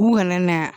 U kana na